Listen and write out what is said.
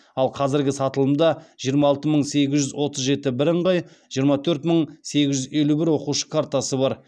ал қазіргі сатылымда жиырма алты мың сегіз жүз отыз жеті бірыңғай жиырма төрт мың сегіз жүз елу бір оқушы картасы бар